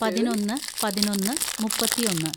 പതിനൊന്ന് പതിനൊന്ന് മുപ്പത്തിയൊന്ന്‌